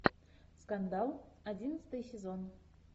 скандал одиннадцатый сезон